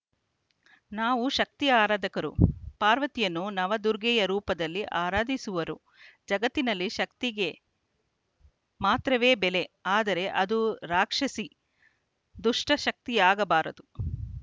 ನಾವು ಶಕ್ತಿ ಆರಾಧಕರು ಪಾರ್ವತಿಯನ್ನು ನವ ದುರ್ಗೆಯ ರೂಪದಲ್ಲಿ ಆರಾಧಿಸುವರು ಜಗತ್ತಿನಲ್ಲಿ ಶಕ್ತಿಗೆ ಮಾತ್ರವೇ ಬೆಲೆ ಆದರೆ ಅದು ರಾಕ್ಷಸೀ ದುಷ್ಟಶಕ್ತಿಯಾಗಬಾರದು